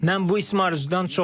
Mən bu ismarıcudan çox məmnunam.